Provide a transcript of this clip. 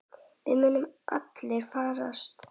Þið munuð allir farast.